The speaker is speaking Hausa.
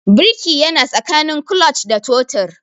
Birki yana tsakanin clutch da totir